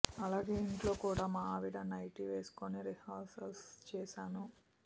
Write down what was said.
అలాగే ఇంట్లో కూడా మా ఆవిడ నైటీ వేసుకుని రిహార్సిల్స్ చేశాను